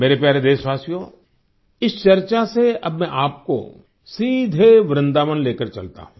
मेरे प्यारे देशवासियो इस चर्चा से अब मैं आपको सीधे वृन्दावन लेकर चलता हूँ